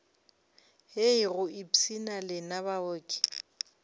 hei go ipshina lena baoki